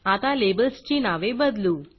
आता लेबल्सची नावे बदलू